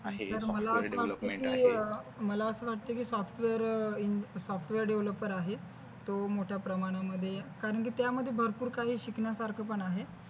आहे software devolopement आहे. मला अस वाटतय कि software developer आहे तो मोठ्या प्रमाणामध्ये कारण कि त्यामध्ये भरपूर काही शिकण्यासारखं पण आहे.